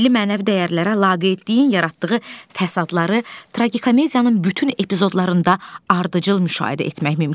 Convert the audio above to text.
Milli mənəvi dəyərlərə laqeydliyin yaratdığı fəsadları tragikomediyanın bütün epizodlarında ardıcıl müşahidə etmək mümkündür.